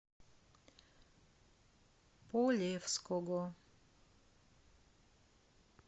полевского